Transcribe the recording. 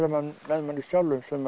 með manni sjálfum sem